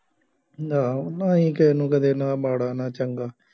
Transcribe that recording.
ਆਹੋ ਆਈਂ ਕਿਸੇ ਨੂੰ ਕਦੇ ਨਾ ਮਾੜਾ ਨਾ ਚੰਗਾ